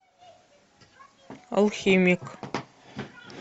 алхимик